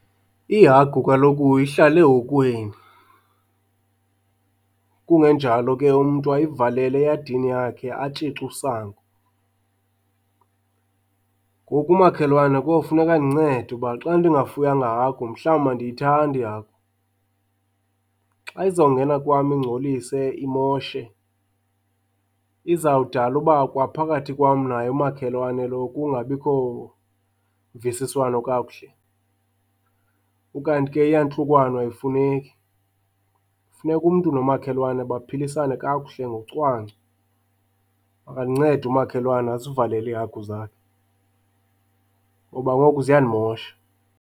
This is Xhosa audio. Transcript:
Ihagu kaloku ihlala ehokweni kungenjalo ke umntu ayivalele eyadini yakhe atshice usango. Ngoku umakhelwane kofuneka andincede uba xa ndingafuyanga hagu mhlawumbi andiyithandi ihagu. Xa izawungena kwam ingcolise, imoshe izawudala uba kwa phakathi kwam naye umakhelwane lo kungabikho mvisiswano kakuhle. Ukanti ke iyantlukwano ayifuneki, funeka umntu nomakhelwane baphilisane kakuhle ngocwangco. Makandincede umakhelwane azivalele iihagu zakhe ngoba ngoku ziyandimosha.